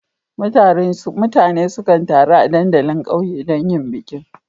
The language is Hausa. Mutane sukan taru a dandalin ƙauye don yin bikin.